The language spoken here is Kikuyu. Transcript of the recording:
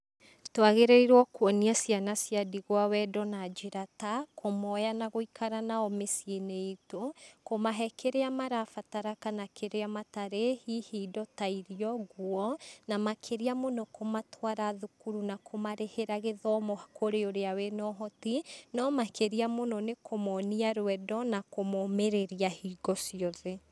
Twagĩrĩrwo kũonia ciana cia ndigwa wendo na njĩra ta; kũmoya na gũikara nao miciĩ-inĩ itũ, kũmahe kĩrĩa marabatara kana kĩrĩa matarĩ, hihi indo ta irio ngũo na makĩria mũno kũmatwara thukuru na kũmarĩhĩra gĩthomo kũrĩ ũrĩa wĩna ũhoti, no makĩrĩa mũno kũmonia rwendo na kũmomĩrĩria hingo ciothe.